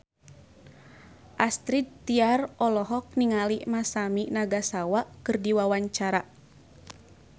Astrid Tiar olohok ningali Masami Nagasawa keur diwawancara